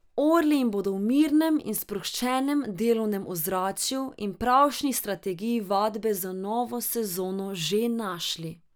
Orli jih bodo v mirnem in sproščenem delovnem ozračju in pravšnji strategiji vadbe za novo sezono že našli.